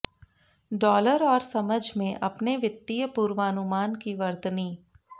dollar और समझ में अपने वित्तीय पूर्वानुमान की वर्तनी